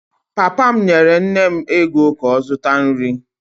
Papa m nyere nne m ego ka ọ zụta nri.